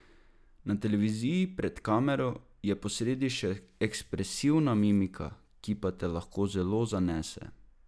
Na televiziji, pred kamero, je posredi še ekspresivna mimika, ki pa te lahko zelo zanese!